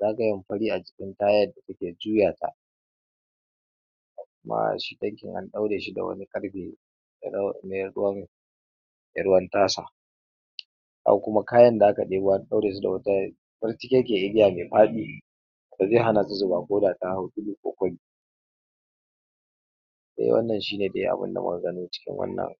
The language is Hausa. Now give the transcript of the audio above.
zagayen fari a jikin ta yadda ta ke juyata kuma shi tankin a ɗaure shi da wani ƙarfe ne mai ruwan me ruwan tasa, amma kuma kayan da aka ɗebo an ɗaure su da wata kwartigegiyar igiya mai faɗi da zai hana su zuba koda ta hau tudu ko kwari, de wannan shine de abinda muka gano cikin wannan